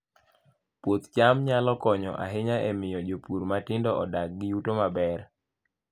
Puoth cham nyalo konyo ahinya e miyo jopur matindo odag gi yuto maber